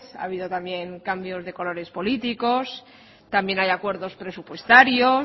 ha habido también cambios de colores políticos también hay acuerdos presupuestarios